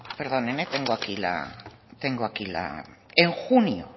tengo aquí la en junio